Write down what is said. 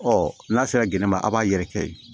Ɔ n'a sera gɛnɛ ma a b'a yɛrɛkɛ yen